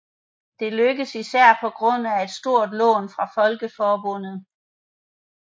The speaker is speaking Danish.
Dette lykkedes især på grund af et stort lån fra Folkeforbundet